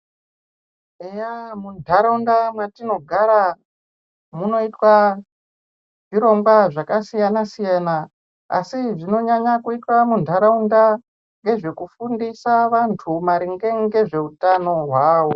Eya mu ndaraunda matino gara munoitwa zvirongwa zvaka siyana siyana asi zvinonyanya kuitwa mundaraunda ngezve kufundisa vantu maringe ngezve utano hwawo.